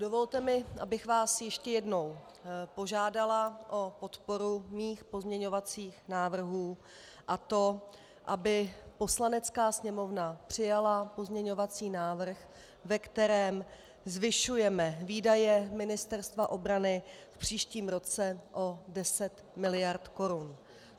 Dovolte mi, abych vás ještě jednou požádala o podporu svých pozměňovacích návrhů, a to aby Poslanecká sněmovna přijala pozměňovací návrh, ve kterém zvyšujeme výdaje Ministerstva obrany v příštím roce o 10 miliard korun.